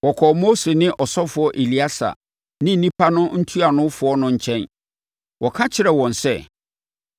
wɔkɔɔ Mose ne ɔsɔfoɔ Eleasa ne nnipa no ntuanofoɔ no nkyɛn. Wɔka kyerɛɛ wɔn sɛ,